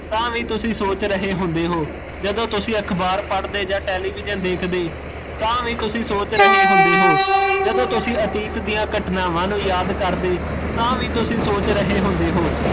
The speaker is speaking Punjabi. ਤਾਂ ਵੀ ਤੁਸੀਂ ਸੋਚ ਰਹੇ ਹੁੰਦੇ ਹੋ, ਜਦੋਂ ਤੁਸੀਂ ਅਖਬਾਰ ਪੜਦੇ ਜਾਂ television ਦੇਖਦੇ, ਤਾਂ ਵੀ ਤੁਸੀਂ ਸੋਚ ਰਹੇ ਹੁੰਦੇ ਹੋ, ਜਦੋਂ ਤੁਸੀਂ ਅਤੀਤ ਦੀਆ ਘਟਨਾਵਾਂ ਨੂੰ ਯਾਦ ਕਰਦੇ, ਤਾਂ ਵੀ ਤੁਸੀਂ ਸੋਚ ਰਹੇ ਹੁੰਦੇ ਹੋ